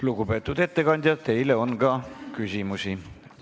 Lugupeetud ettekandja, teile on ka küsimusi.